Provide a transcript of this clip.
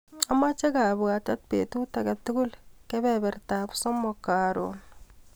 Amache kabwatet betut akatukul kebebertap somok karon.